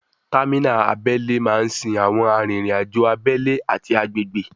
Támínà abẹ́lé máa ń sin àwọn arìnriǹ-àjò abẹ́lé ati agbègbè